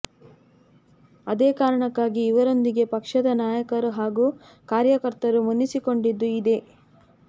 ಅದೇ ಕಾರಣಕ್ಕಾಗಿ ಇವರೊಂದಿಗೆ ಪಕ್ಷದ ನಾಯಕರು ಹಾಗೂ ಕಾರ್ಯಕರ್ತರು ಮುನಿಸಿಕೊಂಡಿದ್ದೂ ಇದೆ